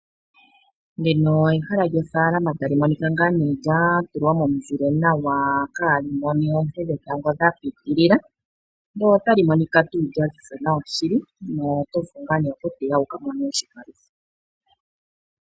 Ehala lyofaalama lya tulwa momuzile omwaanawa kali mone oonte dhetango dha pitilila nota li monika lyaziza nawa.